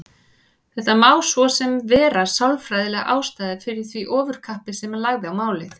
Þetta má svo sem vera sálfræðilega ástæðan fyrir því ofurkappi sem hann lagði á málið.